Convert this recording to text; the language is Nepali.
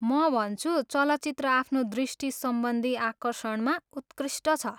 म भन्छु चलचित्र आफ्नो दृष्टिसम्बन्धी आकर्षणमा उत्कृष्ट छ।